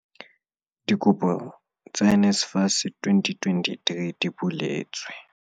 Dikopo tsa NSFAS tsa 2023 di buletswe